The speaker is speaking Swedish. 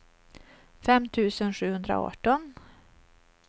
fem tusen sjuhundraarton